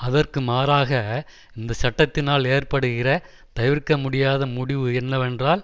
அதற்கு மாறாக இந்த சட்டத்தினால் ஏற்படுகிற தவிர்க்க முடியாத முடிவு என்னவென்றால்